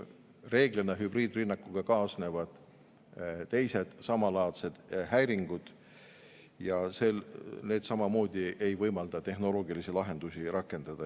Reeglina hübriidrünnakuga kaasnevad teised samalaadsed häiringud ja need samamoodi ei võimalda tehnoloogilisi lahendusi rakendada.